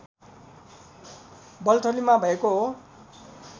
बल्थलीमा भएको हो